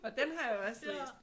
Og den har jeg også læst